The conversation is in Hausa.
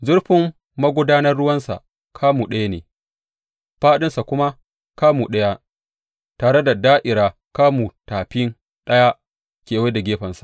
Zurfin magudanar ruwansa kamu ɗaya ne fāɗinsa kuma kamu ɗaya, tare da da’ira kamun tafi ɗaya kewaye da gefensa.